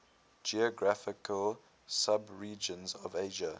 geographical subregions of asia